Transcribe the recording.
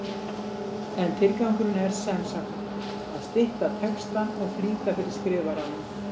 En tilgangurinn er sem sagt að stytta textann og flýta fyrir skrifaranum.